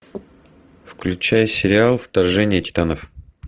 включай сериал вторжение титанов